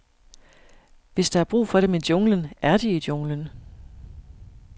Hvis der er brug for dem i junglen, er de i junglen.